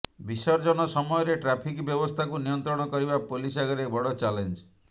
ବିସର୍ଜନ ସମୟରେ ଟ୍ରାଫିକ ବ୍ୟବସ୍ଥାକୁ ନିୟନ୍ତ୍ରଣ କରିବା ପୋଲିସ ଆଗରେ ବଡ଼ ଚ୍ୟାଲେଞ୍ଜ